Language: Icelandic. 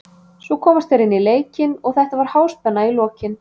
Svo komast þeir inn í leikinn og þetta var háspenna í lokin.